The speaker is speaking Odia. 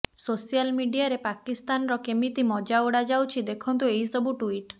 ସୋସିଆଲ ମିଡିଆରେ ପାକିସ୍ତାନର କେମିତି ମଜା ଉଡାଯାଉଛି ଦେଖନ୍ତୁ ଏହି ସବୁ ଟୁଇଟ୍